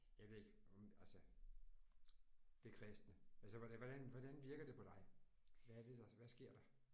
Jeg ved ikke om altså det kristne. Altså hvordan hvordan virker det på dig hvad er det der hvad sker der?